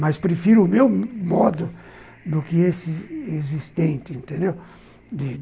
Mas prefiro o meu modo do que esse existente, entendeu? de